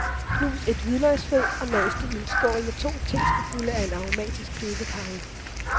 Knus et hvidløgsfed og mas det i en skål med to teskefulde af en aromatisk købecarry.